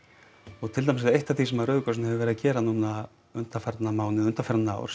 og til dæmis er eitt af því sem Rauði krossinn hefur verið að gera núna undanfarna mánuði og undanfarin ár